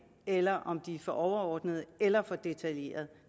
eller om de er for overordnede eller for detaljerede